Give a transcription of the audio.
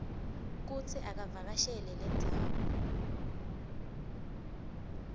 kutsi avakashele lendzawo